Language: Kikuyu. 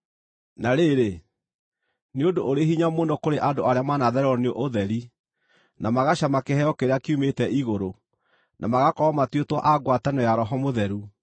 Na rĩrĩ, nĩ ũndũ ũrĩ hinya mũno kũrĩ andũ arĩa maanathererwo nĩ ũtheri, na magacama kĩheo kĩrĩa kiumĩte igũrũ, na magakorwo matuĩtwo a ngwatanĩro ya Roho Mũtheru,